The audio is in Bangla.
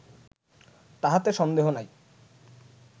তাহাতে সন্দেহ নাই